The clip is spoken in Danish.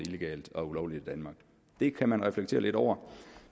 illegalt og ulovligt i danmark det kan man reflektere lidt over